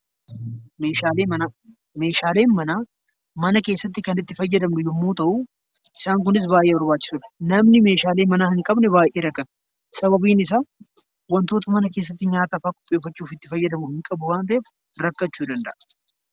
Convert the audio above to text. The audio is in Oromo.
Meeshaaleen manaa mana keessatti kan itti fayyadamnu yommuu ta'u, isaan kunis baay'ee barbaachisoodha. Namni meeshaalee manaa hin qabne baay'ee rakkata. Sababiin isaa wantoota mana keessatti nyaatafaa ittiin qopheeffachuuf itti fayyadamu hin qabu waan ta'eef, rakkachuu ni danda'a.